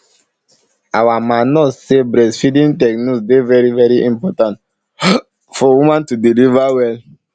our ma nurse say breastfeeding techniques dey very very important for woman to deliver well